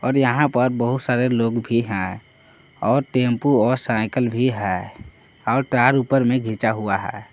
यहां पर बहुत सारे लोग भी हैं और टेंपो और साइकिल भी है और तार ऊपर में घिचा हुआ है।